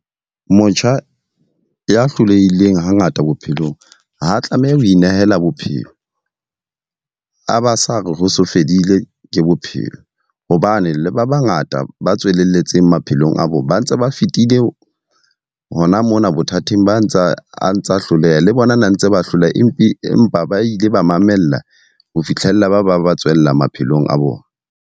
Motjha ya hlolehileng ha ngata bophelong, ha tlameha ho inehela bophelo. A ba sa re ho so fedile ke bophelo. Hobane le ba ba ngata ba tswelletseng pele maphelong a bona. Ba ntse ba fitile hona mona bothateng ba a ntsa a ntsa hloleha. Le bona na ntse ba hloleha empe empa ba ile ba mamella ho fitlhella ba ba ba tswella maphelong a bona.